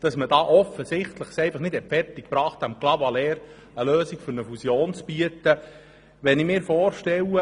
Man hat es offensichtlich nicht fertiggebracht, Clavaleyres eine Lösung für eine innerkantonale Fusion anzubieten.